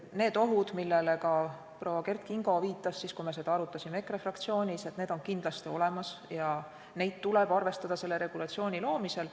Need ohud, millele ka proua Kert Kingo viitas siis, kui me seda arutasime EKRE fraktsioonis, on kindlasti olemas ja neid tuleb arvestada selle regulatsiooni loomisel.